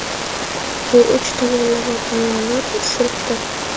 bu uch tomonlama bayonot, sulhdir.